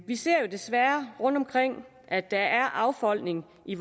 vi ser desværre rundtomkring at der er affolkning i